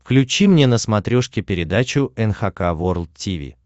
включи мне на смотрешке передачу эн эйч кей волд ти ви